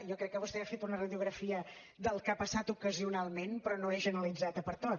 jo crec que vostè ha fet una radiografia del que ha passat ocasionalment però no és generalitzat pertot